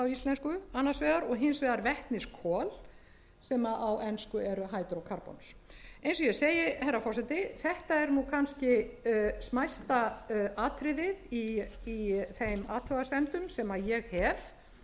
íslensku annars vegar og hins vegar vetniskol sem á ensku eru hydrocarbons eins og ég segi herra forseti þetta er nú kannski smæsta atriðið í þeim athugasemdum sem ég hef